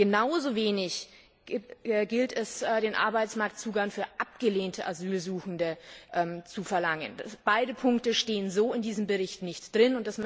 Genauso wenig gilt es, den Arbeitsmarktzugang für abgelehnte Asylsuchende zu verlangen. Beide Punkte stehen so in diesem Bericht nicht drin.